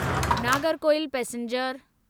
Nagercoil passenger